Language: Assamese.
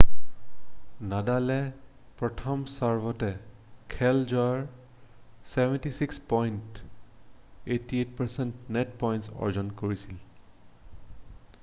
নাডালে প্ৰথম ছাৰ্ভতে খেল জয়ৰ 76পইণ্ট 88% নেট পইণ্ট অৰ্জন কৰিছিল